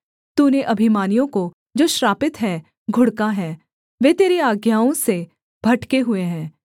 तूने अभिमानियों को जो श्रापित हैं घुड़का है वे तेरी आज्ञाओं से भटके हुए हैं